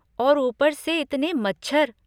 और ऊपर से इतने मच्छर।